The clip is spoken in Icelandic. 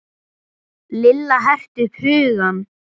Lilla herti upp hugann.